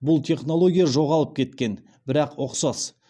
бұл технология жоғалып кеткен бірақ ұқсас